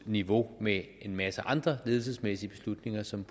niveau med en masse andre ledelsesmæssige beslutninger som